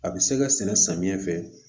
A bɛ se ka sɛnɛ samiyɛn fɛ